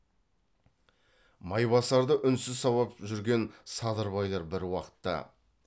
майбасарды үнсіз сабап жүрген садырбайлар бір уақытта